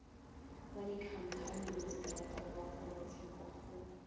wa dikhamphani masetara wa kgorotshekokgolo